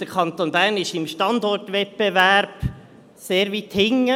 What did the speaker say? Der Kanton Bern liegt im Standortwettbewerb sehr weit hinten.